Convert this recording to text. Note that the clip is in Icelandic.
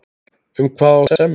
Um hvað á að semja?